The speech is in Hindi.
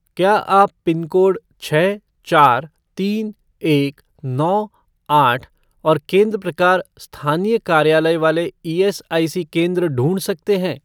क्या आप पिनकोड छः चार तीन एक नौ आठ और केंद्र प्रकार स्थानीय कार्यालय वाले ईएसआईसी केंद्र ढूँढ सकते हैं?